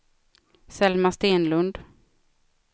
Selma Stenlund